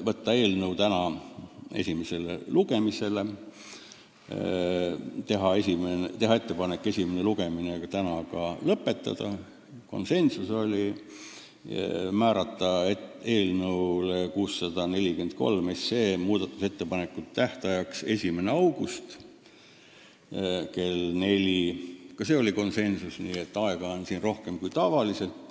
ettepanek võtta eelnõu esimesele lugemisele tänasel istungil, teha ettepanek esimene lugemine lõpetada ja määrata eelnõu 643 muudatusettepanekute tähtajaks 1. august kell 16 ehk siis aega on rohkem kui tavaliselt.